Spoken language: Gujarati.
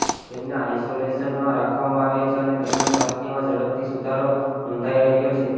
તેમને આઈસોલેશનમાં રાખવામાં આવ્યા છે અને તેમના સ્વાસ્થ્યમાં ઝડપથી સુધારો નોંધાઈ રહ્યો છે